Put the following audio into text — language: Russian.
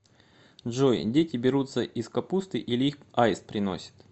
джой дети берутся из капусты или их аист приносит